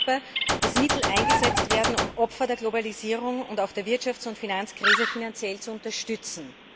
Es wird sichtbar, dass Mittel eingesetzt werden, um Opfer der Globalisierung und der Wirtschafts und Finanzkrise finanziell zu unterstützen.